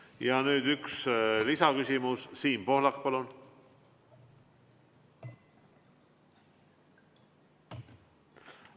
Ja nüüd üks lisaküsimus, Siim Pohlak, palun!